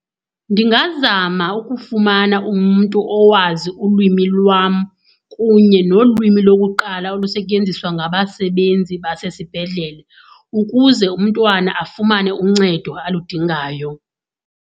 Ndingazama ukufumana umntu owazi ulwimi lwam kunye nolwimi lokuqala olusetyenziswa ngabasebenzi basesibhedlele ukuze umntwana afumane uncedo aludingayo.